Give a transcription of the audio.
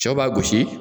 Cɛw b'a gosi